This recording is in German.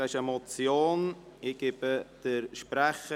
Es handelt sich um eine Motion.